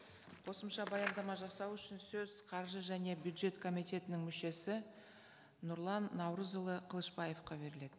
қосымша баяндама жасау үшін сөз қаржы және бюджет комитетінің мүшесі нұрлан наурызұлы қылышбаевқа беріледі